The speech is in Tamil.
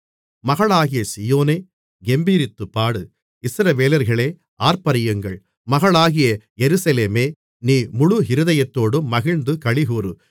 மகளாகிய சீயோனே கெம்பீரித்துப்பாடு இஸ்ரவேலர்களே ஆர்ப்பரியுங்கள் மகளாகிய எருசலேமே நீ முழு இருதயத்தோடும் மகிழ்ந்து களிகூரு